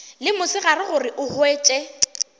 le mosegare gore o hwetše